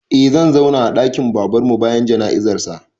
Eh zan zauna a ɗakin Babanmu bayan jana'izarsa.